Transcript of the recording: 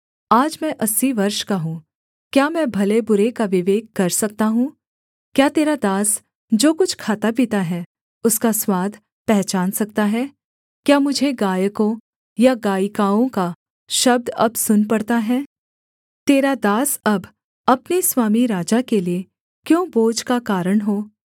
आज मैं अस्सी वर्ष का हूँ क्या मैं भले बुरे का विवेक कर सकता हूँ क्या तेरा दास जो कुछ खाता पीता है उसका स्वाद पहचान सकता है क्या मुझे गायकों या गायिकाओं का शब्द अब सुन पड़ता है तेरा दास अब अपने स्वामी राजा के लिये क्यों बोझ का कारण हो